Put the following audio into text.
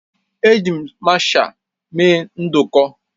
Eji m masha mee nduku